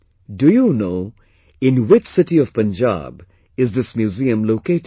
Do you know, in which city of Punjab is this museum located